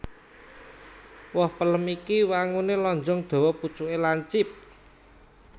Woh pelem iki wanguné lonjong dawa pucuké lancip